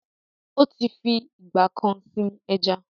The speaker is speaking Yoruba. Ó ti fi ìgbà kan sin ẹja